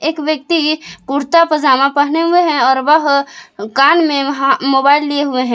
एक व्यक्ति कुर्ता पजामा पहने हुए हैं और वह कान में मोबाइल लिए हुए हैं।